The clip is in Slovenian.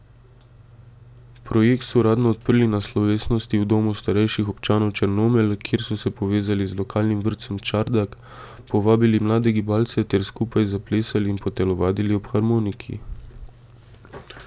Projekt so uradno odprli na slovesnosti v Domu starejših občanov Črnomelj, kjer so se povezali z lokalnim vrtcem Čardak, povabili mlade gibalce ter skupaj zaplesali in potelovadili ob harmoniki.